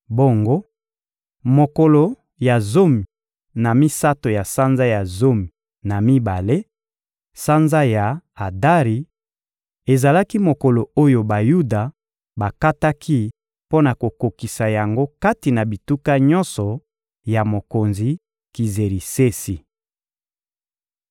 Bongo, mokolo ya zomi na misato ya sanza ya zomi na mibale, sanza ya Adari, ezalaki mokolo oyo Bayuda bakataki mpo na kokokisa yango kati na bituka nyonso ya mokonzi Kizerisesi.